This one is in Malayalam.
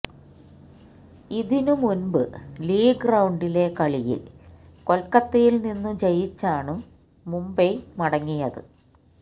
ഇതിനു മുൻപു ലീഗ് റൌണ്ടിലെ കളിയിൽ കൊൽക്കത്തയിൽനിന്നു ജയിച്ചാണു മുംബൈ മടങ്ങിയത്